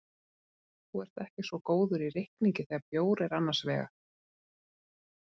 Þú ert ekki svo góður í reikningi þegar bjór er annars vegar.